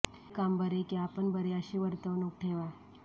आपले काम बरे की आपण बरे अशी वर्तणूक ठेवा